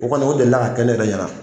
O kɔni o deli ka kɛ ne yɛrɛ ɲɛna